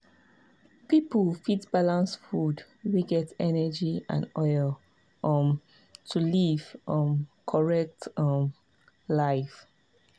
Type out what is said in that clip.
people fit balance food wey get energy and oil um to live um correct um life.